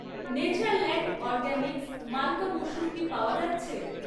Natureland organics মালকা মুসুর কি পাওয়া যাচ্ছে?